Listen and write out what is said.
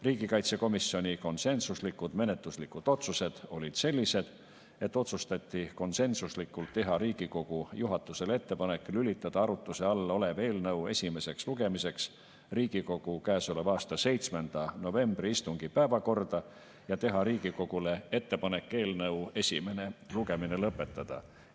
Riigikaitsekomisjoni konsensuslikud menetluslikud otsused olid sellised, et otsustati teha Riigikogu juhatusele ettepanek lülitada arutuse all olev eelnõu esimeseks lugemiseks Riigikogu käesoleva aasta 7. novembri istungi päevakorda ja teha Riigikogule ettepanek eelnõu esimene lugemine lõpetada.